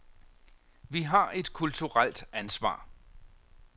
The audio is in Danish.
Vi har et kulturelt ansvar.